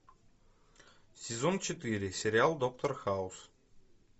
сезон четыре сериал доктор хаус